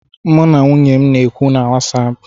M na nwunye na-ekwu na wasapụ